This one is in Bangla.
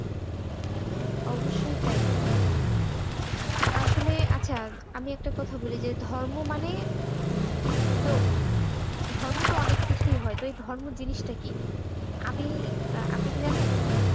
হ্যাঁ অবশ্যই তাই আসলে আচ্ছা আমি একটা কথা বলি যে ধর্ম মানে নে নে তো ধর্ম অনেক কিছুই হয় তাই ধর্ম জিনিসটা কি? আপনি আপনি কি জানেন?